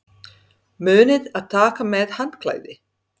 Munið að taka með handklæði!